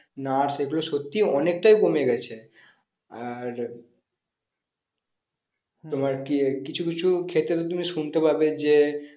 nurse এগুলো সত্যি অনেকটাই কমে গেছে আর তোমার কি কিছু কিছু ক্ষেত্রে তো তুমি শুনতে পাবে যে